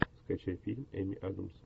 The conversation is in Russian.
скачай фильм эми адамс